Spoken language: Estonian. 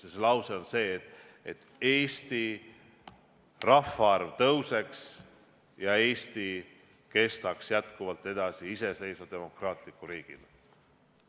See lause on see, et Eesti rahvaarv tõuseks ja Eesti kestaks jätkuvalt edasi iseseisva demokraatliku riigina.